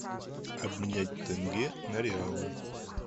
обменять тенге на реалы